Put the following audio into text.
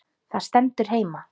Það stendur heima.